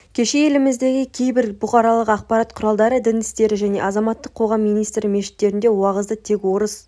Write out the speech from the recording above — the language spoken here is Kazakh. кеше еліміздегі кейбір бұқаралық ақпарат құралдары дін істері және азаматтық қоғам министрі мешіттерде уағызды тек орыс